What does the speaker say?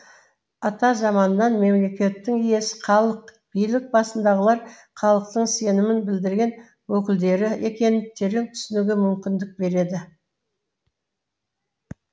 атамзаманнан мемлекеттің иесі халық билік басындағылар халықтың сенім білдірген өкілдері екенін терең түсінуге мүмкіндік береді